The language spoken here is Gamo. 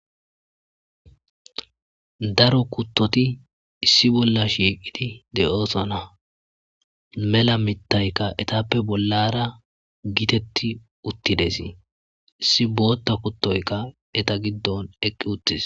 Daro kuttoti issi balla shiqeti uttidaysaDeosona mella mitayka ettape Bolla bagara de'es issi bota kutoyka eta gidoni eqqi uttis